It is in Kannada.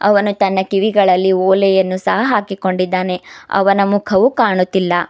ಅವನು ತನ್ನಾ ಕಿವಿಗಳಲ್ಲಿ ಓಲೆಯನ್ನು ಸಹ ಹಾಕಿಕೊಂಡಿದ್ದಾನೆ ಅವನ ಮುಖವು ಕಾಣುತ್ತಿಲ್ಲಾ.